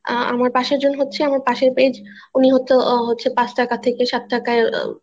আমার পাশের জন হচ্ছে আমার পাশের page উনি হয়তো ৫ টাকা থেকে ৭ টাকা